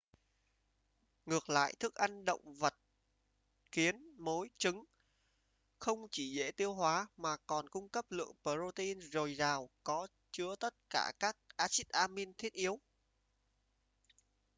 ngược lại thức ăn động vật kiến mối trứng không chỉ dễ tiêu hóa mà còn cung cấp lượng protein dồi dào có chứa tất cả các axit amin thiết yếu